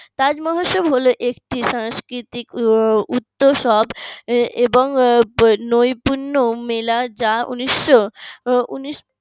তাজমহোৎসব হলো একটি সাংস্কৃতিক উৎসব এবং নৈপুণ্যময় যা উনিশশো উনিশশো